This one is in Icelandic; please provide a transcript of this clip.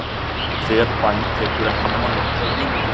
Hver bæn tekur ekki nema nokkrar mínútur.